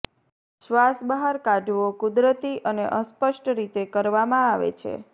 શ્વાસ બહાર કાઢવો કુદરતી અને અસ્પષ્ટ રીતે કરવામાં આવે છે